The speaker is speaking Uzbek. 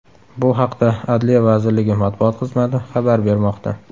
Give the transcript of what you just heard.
Bu haqda Adliya vazirligi matbuot xizmati xabar bermoqda .